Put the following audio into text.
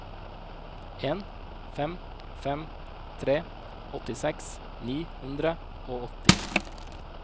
en fem fem tre åttiseks ni hundre og åtti